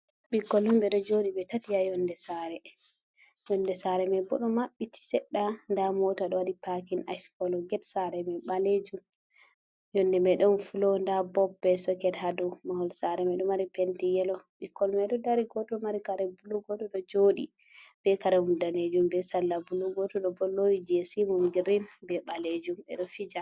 Ɓikkoi on ɓe ɗo joɗi ɓe tati ha yonde sare. Yonde sare mai bo ɗo mabɓiti Sedɗa, nda mota ɗo waɗi Pakin Ash kolo, get sare mai ɓalejum yonde mai ɗon fulo nda bob be soket ha dou. Mahol Sare mai ɗo mari penti yelo, ɓikkoi mai ɗo dari goto mai kare bulu, goto ɗo joɗi be karemu danejum be sala bulu. Goto bo ɗo lowi jesi mum Girin be ɓalejum ɓe ɗo fija.